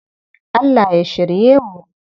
Allah ya shirye mu.